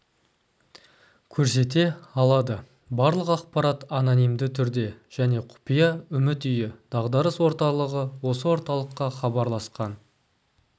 көрсете алады барлық ақпарат анонимді түрде және құпия үміт үйі дағдарыс орталығы осы орталыққа хабарласқан